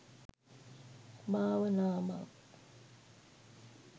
භාවනාවත්